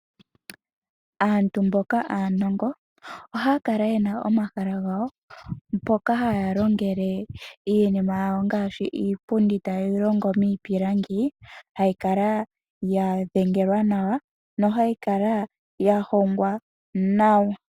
Aantu mboka aanongo, ohayakala yena omahala gawo mpoka haya longele iinima yawo ngaashi iipundi taye yi longo miipilangi, hayikala ya dhengelwa nawa nohayi kala yahongwa nawa.